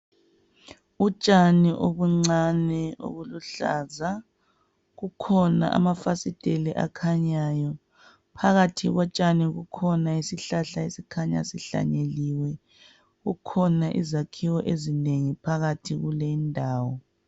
Utshani obuncane obuluhlaza, kukhona amafasiteli akhanyayo, phakathi kotshani kukhona isihlahla esikhanya sihlanyeliwe. Kukhona izakhiwo ezinengi phakathi kulendawo.